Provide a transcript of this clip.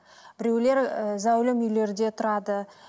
біреулер ііі зәулім үйлерде тұрады